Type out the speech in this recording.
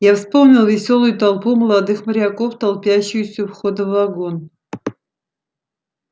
я вспомнил весёлую толпу молодых моряков толпящуюся у входа в вагон